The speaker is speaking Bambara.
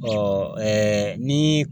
Ɔɔ ɛɛ ni